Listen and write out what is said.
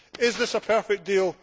Is this a perfect deal?